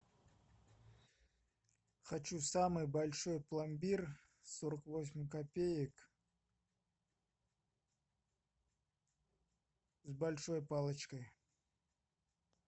хочу самый большой пломбир сорок восемь копеек с большой палочкой